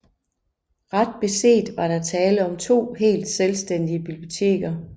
Ret beset var der tale om to helt selvstændige biblioteker